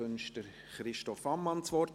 Wünscht Christoph Ammann das Wort?